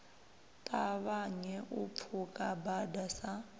ṱavhanye u pfuka bada sa